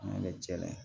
An bɛ cɛ layɛ